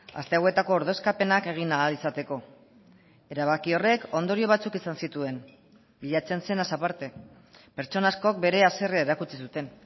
aste hauetako ordezkapenak egin ahal izateko erabaki horrek ondorio batzuk izan zituen bilatzen zenaz aparte pertsona askok bere haserrea erakutsi zuten